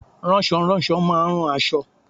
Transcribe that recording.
Ránsoránso má a nrán aṣọ